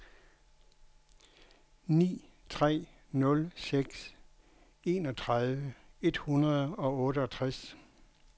ni tre nul seks enogtredive et hundrede og otteogtres